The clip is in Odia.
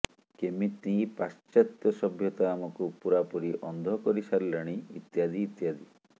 କେମିତି ପାଶ୍ଚାତ୍ୟ ସଭ୍ୟତା ଆମକୁ ପୁରାପୁରି ଅନ୍ଧ କରି ସାରିଲାଣି ଇତ୍ୟାଦି ଇତ୍ୟାଦି